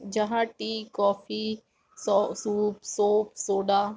जहाँ tea coffee सौ soup shop soda --